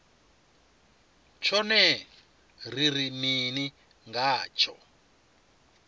tshone ri ri mini ngatsho